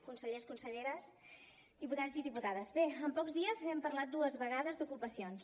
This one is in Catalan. consellers conselleres diputats i diputades bé en pocs dies hem parlat dues vegades d’ocupacions